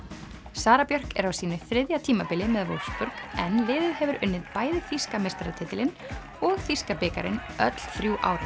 Sara Björk er á sínu þriðja tímabili með en liðið hefur unnið bæði þýska meistaratitilinn og þýska bikarinn öll þrjú árin